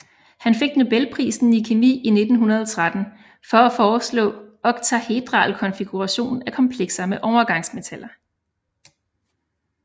Han fik Nobelprisen i kemi i 1913 for at foreslå oktahedral konfiguration af komplekser med overgangsmetaller